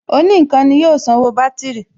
Òní ǹkan ni yóò sanwó bátìrì